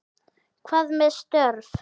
Hvað með störf?